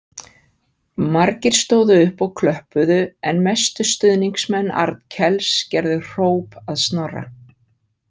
Margir stóðu upp og klöppuðu en mestu stuðningsmenn Arnkels gerðu hróp að Snorra.